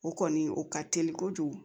O kɔni o ka teli kojugu